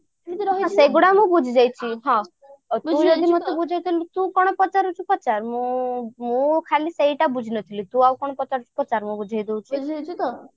ସେଗୁଡା ମୁଁ ବୁଝି ଯାଇଛି ତୁ ଯଦି ମତେ ବୁଝଉଥିଲୁ ତୁ କଣ ପଚାରୁଛୁ ପଚାର ମୁଁ ଖାଲି ସେଇଟା ବୁଝି ନଥିଲି ତୁ ଆଉ କଣ ପଚାରୁଛୁ ପଚାର ମୁଁ ବୁଝେଇଦଉଛି